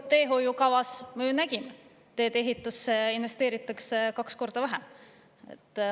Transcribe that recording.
Teehoiukavast me ju näeme, et tee-ehitusse investeeritakse kaks korda vähem.